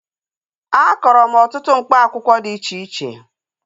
Akọrọ m ọtụtụ mkpa akwụkwọ dị iche iche